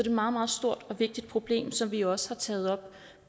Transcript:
et meget meget stort og vigtigt problem som vi jo også har taget op